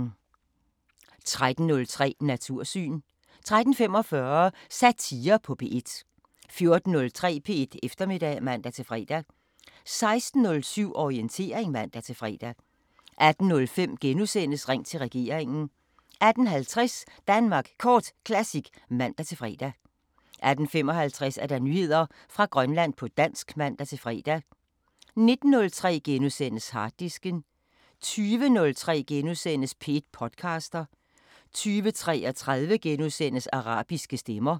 13:03: Natursyn 13:45: Satire på P1 14:03: P1 Eftermiddag (man-fre) 16:07: Orientering (man-fre) 18:05: Ring til regeringen * 18:50: Danmark Kort Classic (man-fre) 18:55: Nyheder fra Grønland på dansk (man-fre) 19:03: Harddisken * 20:03: P1 podcaster * 20:33: Arabiske Stemmer *